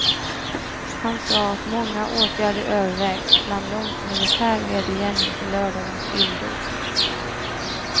Han sade att många åtgärder övervägs, bland dem militär vedergällning för lördagens illdåd.